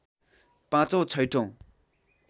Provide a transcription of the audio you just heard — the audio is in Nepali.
पाचौँ छैठौ